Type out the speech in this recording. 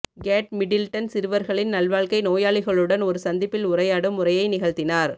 gate Middleton சிறுவர்களின் நல்வாழ்க்கை நோயாளிகளுடன் ஒரு சந்திப்பில் உரையாடும் உரையை நிகழ்த்தினார்